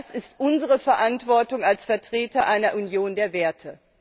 Das ist unsere Verantwortung als Vertreter einer Union der Werte.